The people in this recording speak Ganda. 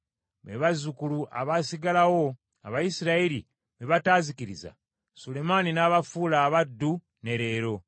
be bazzukulu abaasigalawo, Abayisirayiri be bataazikiriza, Sulemaani n’abafuula abaddu, ne leero.